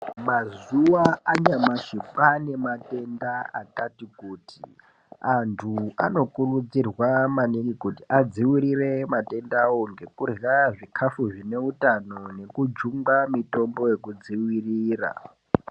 Mazuwa anyamashi kwaane matenda akati kuti. Antu anokurudzirwa maningi kuti adziwirire matendawo ngekurya zvikafu zvine utano nekujungwa mitombo yekudziwirira.